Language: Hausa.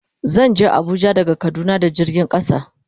Zan je Abuja daga kaduna da jirgin kasa.